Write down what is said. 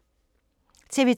TV 2